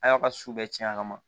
A y'a ka su bɛɛ cɛn a kama